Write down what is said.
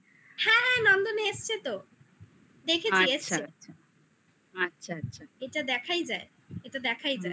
হ্যাঁ হ্যাঁ নন্দনে এসছে তো দেখেছি আচ্ছা আচ্ছা এসছে আচ্ছা আচ্ছা এটা দেখাই যায় এটা দেখাই যায়